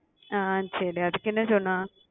ஆஹ் சரி அதுக்கு என்ன சொன்னா